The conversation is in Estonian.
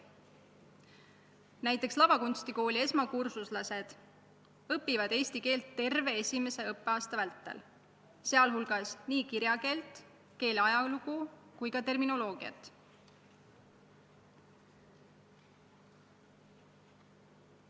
Näiteks lavakunstikooli esmakursuslased õpivad eesti keelt terve esimese õppeaasta vältel, sh nii kirjakeelt, keele ajalugu kui ka terminoloogiat.